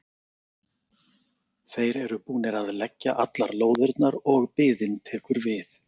Þeir eru búnir að leggja allar lóðirnar og biðin tekur við.